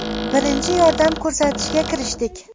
Birinchi yordam ko‘rsatishga kirishdik.